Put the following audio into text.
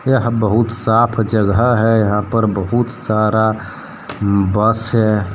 यह बहुत साफ जगह है यहां पर बहुत सारा बस है।